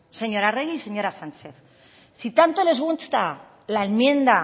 señora arregi y señora sánchez si tanto les gusta la enmienda